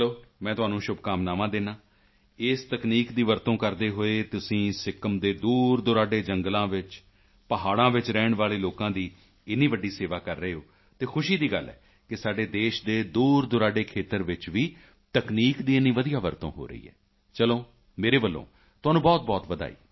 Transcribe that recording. ਚਲੋ ਮੈਂ ਤੁਹਾਨੂੰ ਸ਼ੁਭਕਾਮਨਾਵਾਂ ਦਿੰਦਾ ਹਾਂ ਇਸ ਤਕਨੀਕ ਦੀ ਵਰਤੋਂ ਕਰਦੇ ਹੋਏ ਤੁਸੀਂ ਸਿੱਕਿਮ ਦੇ ਦੂਰਦੁਰਾਡੇ ਜੰਗਲਾਂ ਵਿੱਚ ਪਹਾੜਾਂ ਵਿੱਚ ਰਹਿਣ ਵਾਲੇ ਲੋਕਾਂ ਦੀ ਇੰਨੀ ਵੱਡੀ ਸੇਵਾ ਕਰ ਰਹੇ ਹੋ ਅਤੇ ਖੁਸ਼ੀ ਦੀ ਗੱਲ ਹੈ ਕਿ ਸਾਡੇ ਦੇਸ਼ ਦੇ ਦੂਰਦੁਰਾਡੇ ਖੇਤਰ ਵਿੱਚ ਵੀ ਤਕਨੀਕ ਦੀ ਇੰਨੀ ਵਧੀਆ ਵਰਤੋਂ ਹੋ ਰਹੀ ਹੈ ਚਲੋ ਮੇਰੇ ਵੱਲੋਂ ਤੁਹਾਨੂੰ ਬਹੁਤਬਹੁਤ ਵਧਾਈ